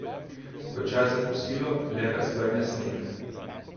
Ko je čas za kosilo, le razgrne sneg.